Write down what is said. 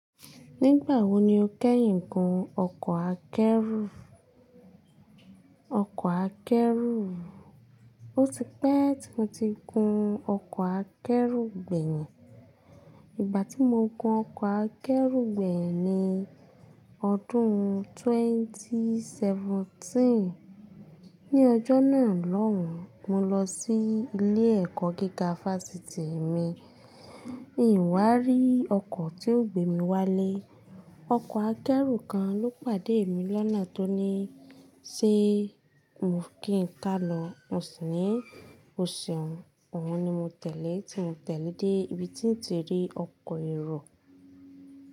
Nígbà wo ni o kẹ́yìn gun ọkọ̀ akẹ́rù? Ọkọ̀ akẹ́rù. O ti pẹ́ tí mo ti gun ọkọ̀ akẹ́rù gbẹ̀yìn. Ìgbà tí mo gun ọkọ̀ akẹ́rù gbẹ̀yìn ni ọdún ẹgbẹ̀rún méjì ó lé mẹ́tàdínlógún. Ni ọjọ́ náà lọ́hùn, mo lọ sí ilé-ẹ̀kọ́ gíga Fásitì mi. Mi ò wá rí ọkọ̀ tí yóò gbé mi wálé. Ọkọ̀ akẹ́rù kan ló pàdé mi lọ́nà tó ní ṣe mo kí n ká lọ. Mo sì ní, "O ṣeun." Òun ni mo tẹ̀lé tí mo tẹ̀lé dé ibi tí n ti rí ọkọ̀ èrò.